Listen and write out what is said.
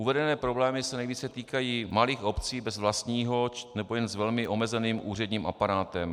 Uvedené problémy se nejvíce týkají malých obcí bez vlastního nebo jen s velmi omezeným úředním aparátem.